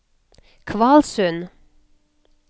Kvalsund